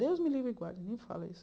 Deus me livre e guarde, nem fale isso.